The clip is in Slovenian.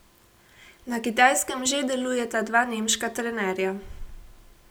Na Kitajskem že delujeta dva nemška trenerja.